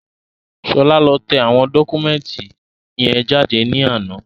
Ṣọlá lọ tẹ àwọn dọ́kúmẹ̀ntì yẹn jáde ní àná